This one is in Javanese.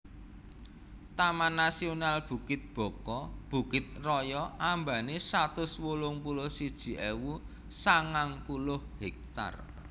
Taman Nasional Bukit Baka Bukit Raya ambane satus wolung puluh siji ewu sangang puluh hektar